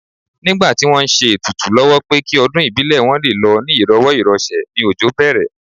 Nígbà tí wọ́n ń ṣe ètùtù lọ́wọ́ pé kí ọdún ìbílẹ̀ wọn lé lọ ní ìrọ̀wọ́ ìrọsẹ̀ ni òjò bẹ̀rẹ̀